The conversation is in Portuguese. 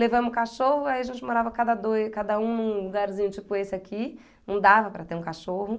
Levamos o cachorro, aí a gente morava cada dois, cada um num lugarzinho tipo esse aqui, não dava para ter um cachorro.